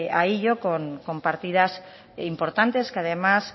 a ello con partidas importantes que además